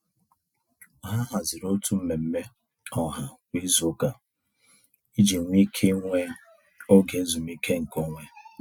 Ha haziri otu mmemme ọha kwa izuụka iji nwe ike ịnwe oge ezumiike nke onwe.